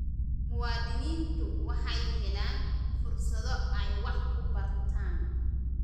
Muwaadiniintu waxay helaan fursado ay wax ku bartaan.